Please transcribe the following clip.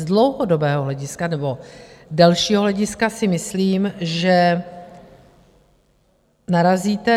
Z dlouhodobého hlediska nebo delšího hlediska si myslím, že narazíte.